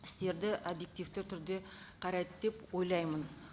істерді объективті түрде қарайды деп ойлаймын